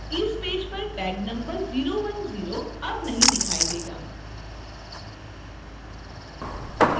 इस पेज पर tag number 010 अब नहीं दिखाई देगा